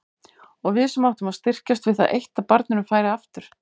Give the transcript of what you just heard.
Og við sem áttum að styrkjast við það eitt að barninu færi aftur.